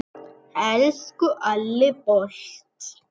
Elsku Alli.